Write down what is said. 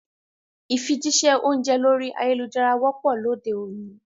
Ìfijíṣẹ́ oúnjẹ lorí ayélujára wọ́pọ̀ lóde òní